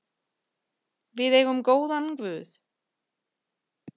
Við eigum góðan guð.